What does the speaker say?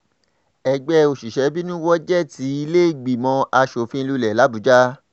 ẹgbẹ́ òṣìṣẹ́ bínú wọ géètì ìlẹ́ẹ̀gbìmọ̀ asòfin lulẹ̀ làbújá